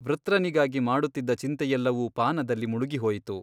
ವೃತ್ರನಿಗಾಗಿ ಮಾಡುತ್ತಿದ್ದ ಚಿಂತೆಯೆಲ್ಲವೂ ಪಾನದಲ್ಲಿ ಮುಳುಗಿಹೋಯಿತು.